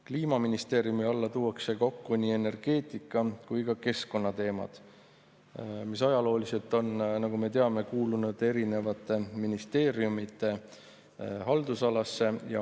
Kliimaministeeriumi alla tuuakse kokku nii energeetika‑ kui ka keskkonnateemad, mis ajalooliselt on, nagu me teame, kuulunud eri ministeeriumide haldusalasse.